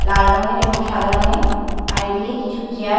লাল রঙের এবং সাদা রঙে আর এদিকে কিছু চেয়ার --